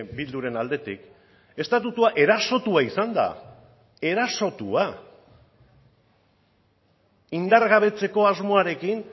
bilduren aldetik estatutua erasotua izan da erasotua indargabetzeko asmoarekin